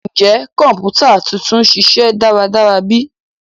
Njẹ kọǹpútà tuntun n ṣiṣẹ daradara bi?